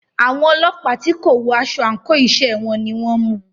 Àwọn ọlọ́pàá tí kò wọ aṣọ àńkò iṣẹ́ wọn ni o mú u.